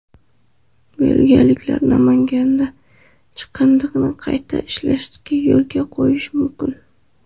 Belgiyaliklar Namanganda chiqindini qayta ishlashni yo‘lga qo‘yishi mumkin.